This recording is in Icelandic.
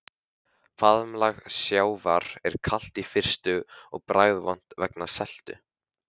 Faðmlag sjávar er kalt í fyrstu og bragðvont vegna seltu.